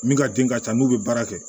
Min ka den ka ca n'u bɛ baara kɛ